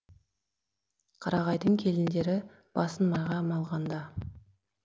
қарағайдың келіндері басын майға малғанда